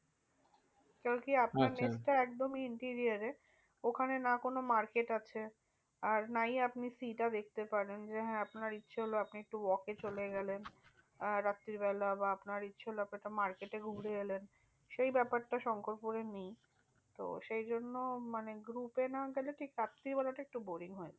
সেই ব্যাপারটা শঙ্করপুরে নেই। সেই জন্য মানে group এ না গেলে ঠিক রাত্রিবেলাটা একটু boring হয়ে যায়।